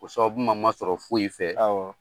O sababu man masɔrɔ foyi fɛ